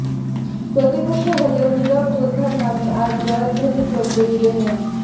প্রতিপক্ষ হলেও নীরব যোদ্ধার নামে আজ জয়ধ্বনি চলবে ইডেনে